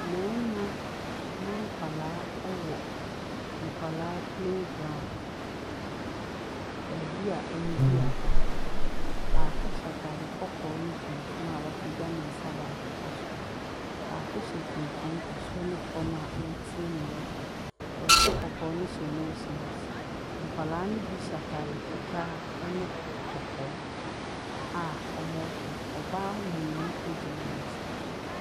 Mmarima ne nkwadaa wɔ nkwadaa playground. Baabi a wɔdi agorɔ. Baako hyɛ atade kɔkɔɔ ne tuntum a wɔapagya ne nsa baako kɔ soro. Baako hyɛ tuntum soro ne fam a ɔretie nea ɔreka. Nea ɔhyɛ kɔkɔɔ no hyɛ nose mask. Nkwadaa no bi hyɛ atade fitaa ne k kɔkɔɔ a wɔrehwɛ. ɔbaa mmienu gyina wɔn akyi.